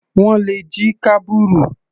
Wọ́n le jí kábùrù.